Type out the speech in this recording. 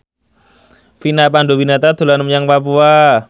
Vina Panduwinata dolan menyang Papua